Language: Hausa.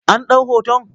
An ɗau hoton?